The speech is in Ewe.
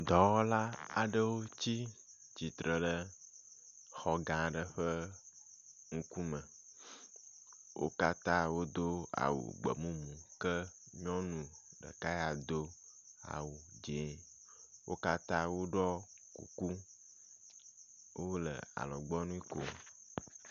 Dɔwɔla aɖewo tsi tsitre ɖe xɔ gã aɖe ƒe ŋkume. Wo katã wodo awu gbe mumu ke nyɔnu ɖeka ya do awu dzɛ̃ wo katã woɖɔ kuku hele alɔgbɔnui kom.